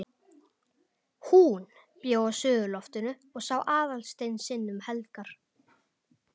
HÚN bjó á suðurloftinu og sá Aðalstein sinn um helgar.